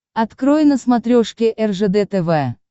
открой на смотрешке ржд тв